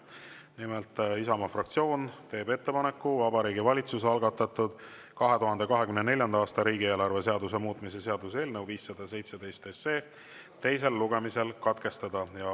Nimelt, Isamaa fraktsioon teeb ettepaneku Vabariigi Valitsuse algatatud 2024. aasta riigieelarve seaduse muutmise seaduse eelnõu 517 teine lugemine katkestada.